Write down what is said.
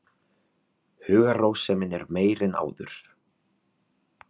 Hugarrósemin er meiri en áður.